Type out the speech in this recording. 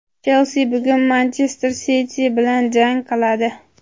"Chelsi" bugun "Manchester Siti" bilan jang qiladi.